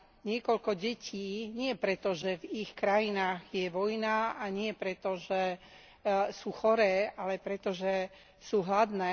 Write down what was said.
niekoľko detí, nie pretože v ich krajinách je vojna a nie pretože sú choré, ale pretože sú hladné.